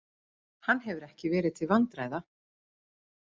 Hann hefur ekki verið til vandræða.